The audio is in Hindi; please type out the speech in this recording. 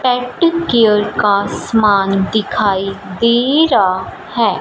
पेंटोर्न केयर का सामान दिखाया जा रहा है।